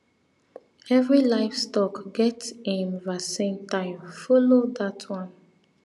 every livestock get im vaccine time follow dat one